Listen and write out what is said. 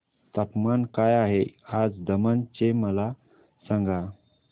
तापमान काय आहे आज दमण चे मला सांगा